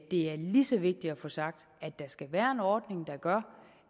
er lige så vigtigt at få sagt at der skal være ordning der gør